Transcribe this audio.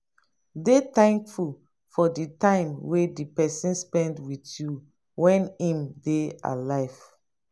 dey thankful for the time wey di person spend with you when im dey alive